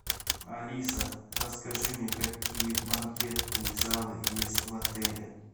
алиса расскажи мне какие банкетные залы есть в отеле